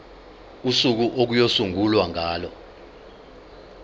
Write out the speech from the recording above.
usuku okuyosungulwa ngalo